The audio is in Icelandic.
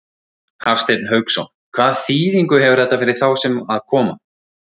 Hafsteinn Hauksson: Hvaða þýðingu hefur þetta fyrir þá sem að koma?